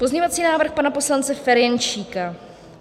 Pozměňovací návrh pana poslance Ferjenčíka.